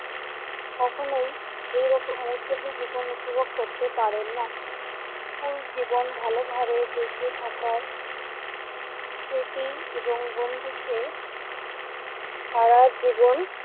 কখনোই এইরকম উদ্যোমী জীবন উপভোগ করতে পারে না। স্কুল জীবন ভালোভাবে বেঁচে থাকার স্মৃতি এবং বন্ধুত্বের সারাজীবন